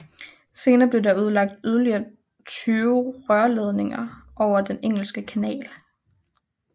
Senere blev der udlagt yderligere 20 rørledninger over Den engelske kanal